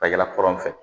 Ka yala kɔrɔn fɛ